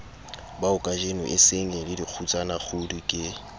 baokajeno e sengele dikgutsanakgudu ke